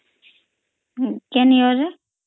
କେନ୍ year ରେ